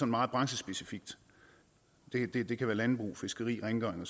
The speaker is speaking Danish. meget branchespecifikt det kan være landbrug fiskeri rengøring og